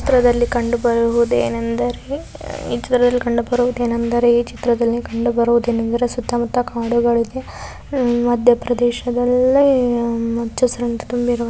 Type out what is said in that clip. ಈ ಚಿತ್ರದಲ್ಲಿ ಕಂಡುಬರುವುದೇನೆಂದರೆ ಈ ಚಿತ್ರದಲ್ಲಿ ಕಂಡುಬರುವುದೇನೆಂದರೆ ಈ ಚಿತ್ರದಲ್ಲಿ ಕಂಡುಬರುವುದೇನೆಂದರೆ ಸುತ್ತಮುತ್ತ ಕಾಡುಗಳಿವೆ ಮಧ್ಯಪ್ರದೇಶದಲ್ಲಿ ಹಚ್ಚಹಸಿರಿನಿಂದದ ತುಂಬಿರುವ--